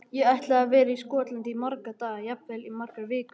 Ég ætla að vera í Skotlandi í marga daga, jafnvel í margar vikur.